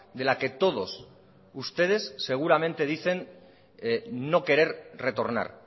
de la que todos ustedes seguramente dicen no querer retornar